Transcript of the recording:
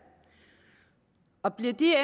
og bliver de